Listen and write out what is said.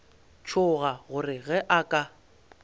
tšhoga gore ge a ka